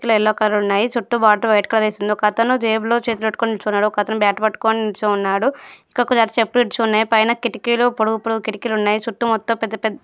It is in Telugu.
ఎల్లో కలర్ ఉన్నాయి చుట్టు బార్డర్ వైట్ కలర్ వేసుంది. ఒకతను జేబులో చేతులు పెట్టుకొని నిల్చున్నాడు ఒకతను బ్యాట్ పట్టుకుని నిల్చొని ఉన్నాడు. ఒక జత చెప్పులు విడిచి ఉన్నాయ. పైన కిటికీలు పొడవు పొడవు కిటికీలు ఉన్నాయి. చుట్టు మొత్తం పెద్దపెద్ద--